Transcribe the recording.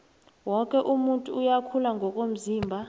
woke umuntu uyakhula ngokomzimba